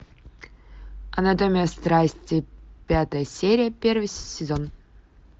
анатомия страсти пятая серия первый сезон